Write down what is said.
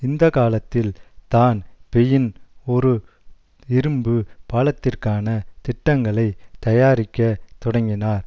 இந்த காலத்தில் தான் பெயின் ஓரு இரும்பு பாலத்திற்கான திட்டங்களை தயாரிக்க தொடங்கினார்